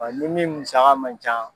Wa ni min musaka man ca